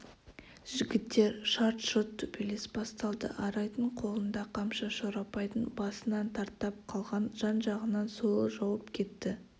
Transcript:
жігіттер шарт-шұрт төбелес басталды арайдың қолында қамшы шорабайдың басынан тартап қалған жан-жағынан сойыл жауып кетті